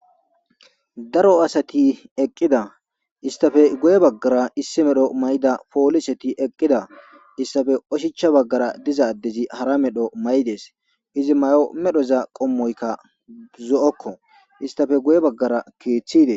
daro asati eqqida istafe goye baggara issi medho may7ida pooliseti eqqida issafe oshicha baggara dizaaddezi hara medho may7idees izi may7o medhoza qommoykka zo7okko istafe goye baggara keeththide